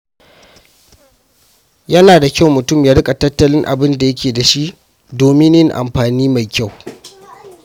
Yana da kyau mutum ya riƙa tattalin abin da yake da shi domin yin amfani mai kyau.